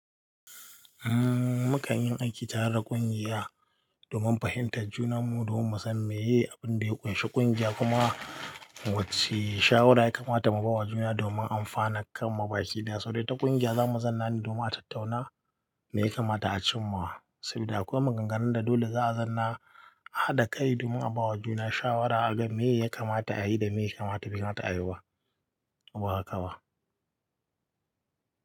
Umm, mu kan yin aiki tare da ƙungiya domin fahimtar juna mu, domin mu san me ya yi, abin da ya ƙunshi ƙungiya kuma wacce shawara ya kamata mu ba wa juna domin amfanar kan mubaki da saboda ita ƙungiya. Za mu zanna ne domin a tattauna me ya kamata a cimma sabida akwai maganganun da dole za a zanna a haɗa kai domin a ba wa juna shawara a ga me ya kamata a yi da me ya kamata bai kamata a yi ba, ko ba haka ba.